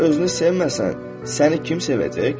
Əgər özünü sevməsən, səni kim sevəcək?